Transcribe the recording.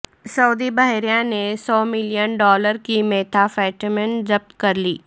سعودی بحریہ نے سو ملین ڈالر کی میتھا فیٹامن ضبط کرلی